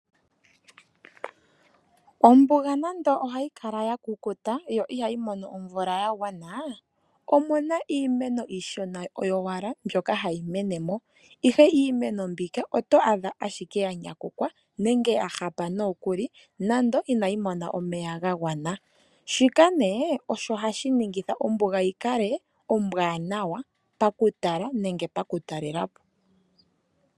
Ombuga nando ohayi kala ya kukuta, ihayi mono omeya ga gwana. Omuna iimeno mbyoka iishona oyo wala hayi menemo, ihe iimeno mbika oto adha ike ya nyakukwa nenge ya hafa nawa nokuli ,nando inayi mona omeya ga gwana, shika osho ne hashi ningitha ombuga yi kale ombanawa paku tala nenge paku talelapo.